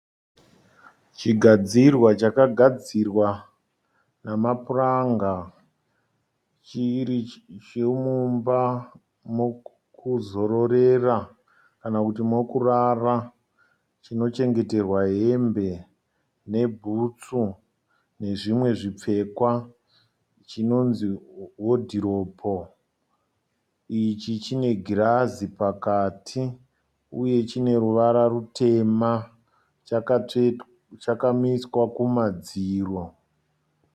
Chigadzirwa chakagadzirwa nemapuranga, chiri chemumba mokuzororera kana kuti mokurara. Chinochengeterwa hembe nebhutsu nezvimwe zvipfekwa, chinonzi wodhiropu. Ichi chine girazi pakati uye chine ruvara rutema chakamiswa kumadziro.